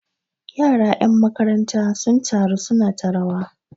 yara 'yan makaranta sun taru suna ta rawa